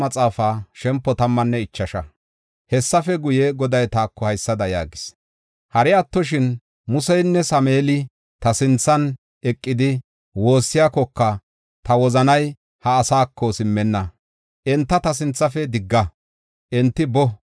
Hessafe guye, Goday taako haysada yaagis: “Hari attoshin Museynne Sameeli ta sinthan eqidi woossiyakoka ta wozanay ha asaako simmenna. Enta ta sinthafe digga; enti boo.